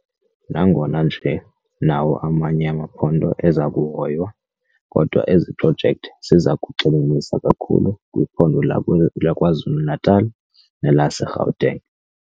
Nangona nje nawo amanye amaphondo eza kuhoywa, kodwa ezi projekthi ziza kugxininisa kakhulu kwiphondo laKwaZulu-Natal nelaseGauteng.